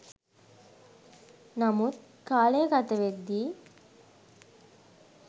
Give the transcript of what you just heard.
නමුත් කාලය ගතවෙද්දි